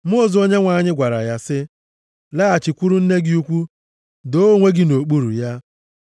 Mmụọ ozi Onyenwe anyị gwara ya sị, “Laghachikwuru nne gị ukwu. Doo onwe gị nʼokpuru ya.”